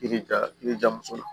I bɛ ja i bɛja muso la